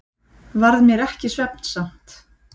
Varð mér ekki svefnsamt.